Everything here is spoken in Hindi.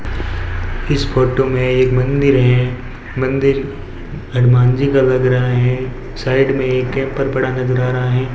इस फोटो में एक मंदिर है मंदिर हनुमान जी का लग रहा है साइड में एक कैंपर पड़ा नजर आ रहा है।